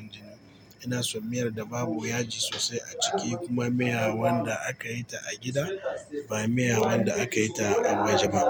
(Silent). Inason miyar da babu yaji sosai a ciki kuma miya wanda akayi ta a gida ba miya wanda akayi ta a waje ba.